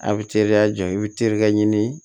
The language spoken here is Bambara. A' bɛ teriya jɔ i bɛ terikɛ ɲini